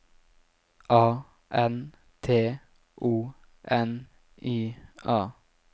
A N T O N I A